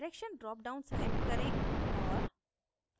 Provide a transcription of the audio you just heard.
direction dropdown select करें और